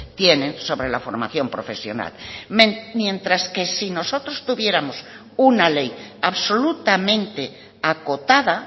tienen sobre la formación profesional mientras que si nosotros tuviéramos una ley absolutamente acotada